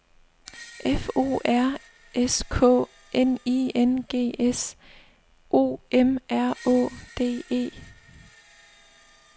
F O R S K N I N G S O M R Å D E